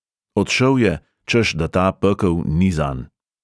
Odšel je, češ da ta pekel ni zanj.